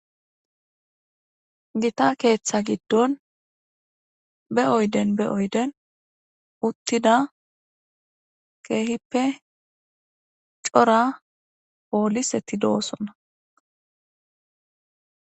Gita keeththa giddon be oyden be oyden uttida keehippe cora pooliseti do'osonna.